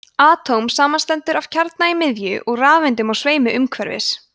atóm samanstendur af kjarna í miðju og rafeindum á sveimi umhverfis